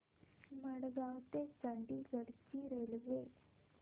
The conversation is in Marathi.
मडगाव ते चंडीगढ ची रेल्वे